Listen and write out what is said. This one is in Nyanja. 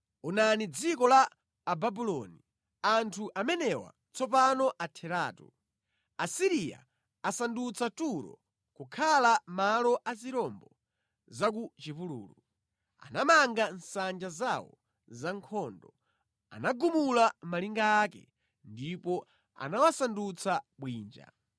Onani dziko la Ababuloni, anthu amenewa tsopano atheratu! Asiriya asandutsa Turo kukhala malo a zirombo za ku chipululu; anamanga nsanja zawo za nkhondo, anagumula malinga ake ndipo anawasandutsa bwinja.